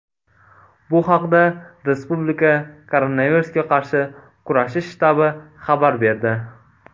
Bu haqda respublika koronavirusga qarshi kurashish shtabi xabar berdi .